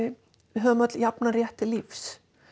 við höfum öll jafnan rétt til lífs